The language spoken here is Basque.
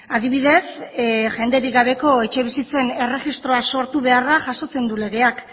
adibidez jenderik gabeko etxebizitzen erregistroa sortu beharra jasotzen du legeak